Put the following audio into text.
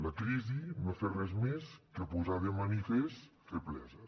la crisi no ha fet res més que posar de manifest febleses